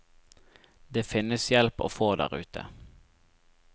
Det finnes hjelp å få der ute.